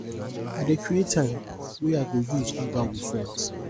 i dey create time wey i go use hangout wit friends